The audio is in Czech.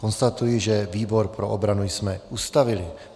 Konstatuji, že výbor pro obranu jsme ustavili.